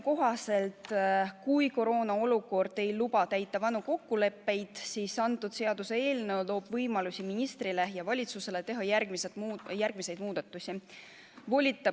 Kui koroonaolukord ei luba täita vanu kokkuleppeid, siis see seaduseelnõu annab ministrile ja valitsusele võimaluse teha järgmisi muudatusi.